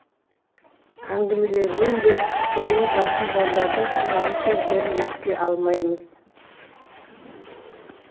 әңгімелерінен де көңілі жақын жандардың шынайы сөздерін ести алмаймыз